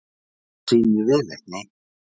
Það sýnir viðleitni